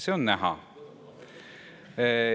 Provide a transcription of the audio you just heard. See on näha.